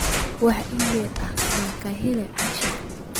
wax iimayl ah ma ka helay asha